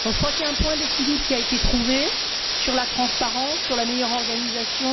Il y a un point d'équilibre qui a été trouvé sur la transparence, sur la meilleure organisation.